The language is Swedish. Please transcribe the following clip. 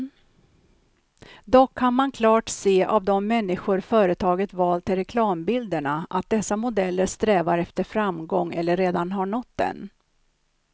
Dock kan man klart se av de människor företaget valt till reklambilderna, att dessa modeller strävar efter framgång eller redan har nått den.